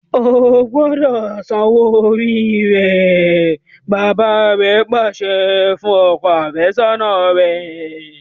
O gbọdọ sàn òwò orí rẹ! bàbà rè pàṣẹ fún ọkọ afesona rẹ.